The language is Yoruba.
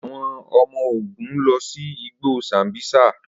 Awọn ọmọ-ogun lọ si igbo sambisa.